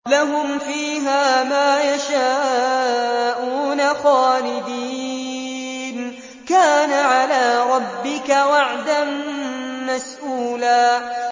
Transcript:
لَّهُمْ فِيهَا مَا يَشَاءُونَ خَالِدِينَ ۚ كَانَ عَلَىٰ رَبِّكَ وَعْدًا مَّسْئُولًا